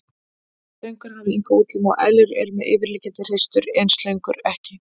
Slöngur hafa enga útlimi og eðlur eru með yfirliggjandi hreistur en slöngur ekki.